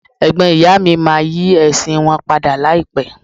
Ẹ̀gbọ́n ìyá mi máa yí ẹ̀sìn wọn padà láìpé.